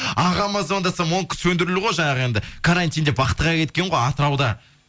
ағама звондасам онікі сөндірулі ғой жаңағы енді карантин деп вахтыға кеткен ғой атырауда